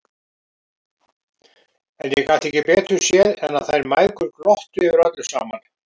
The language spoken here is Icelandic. En ég gat ekki betur séð en að þær mæðgur glottu yfir öllu saman!